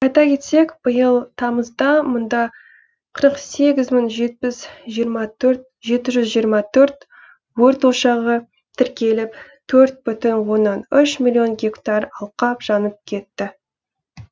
айта кетсек биыл тамызда мұнда қырық сегіз мың жеті жүз жиырма төрт өрт ошағы тіркеліп төрт бүтін оннан үш миллион гектар алқап жанып кетті